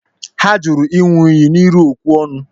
Ha turu egwu iṅu iyi n'iru okwu-ọnu.